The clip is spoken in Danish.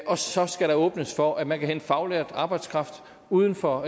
og så skal der åbnes for at man kan hente faglært arbejdskraft uden for